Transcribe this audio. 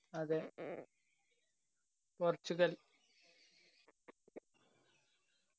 അതെ പോർച്ചുഗൽ.